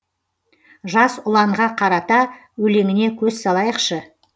жас ұланға қарата өлеңіне көз салайықшы